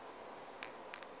bao o ka rego ba